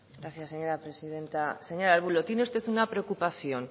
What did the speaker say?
gracias señora presidenta señor arbulo tiene usted una preocupación